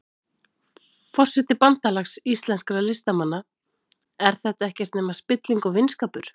Forseti Bandalags íslenskra listamanna, er þetta ekkert nema spilling og vinskapur?